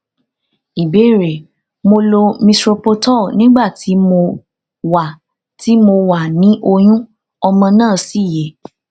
ìbéèrè mo lo misoprostol nígbà tí mo wà tí mo wà ni oyun ọmọ náà sì yè